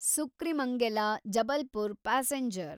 ಸುಕ್ರಿಮಂಗೆಲ Jabalpur passenger